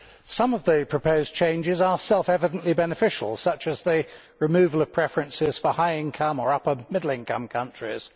Some of the proposed changes are self evidently beneficial, such as the removal of preferences for high income or upper middle income countries.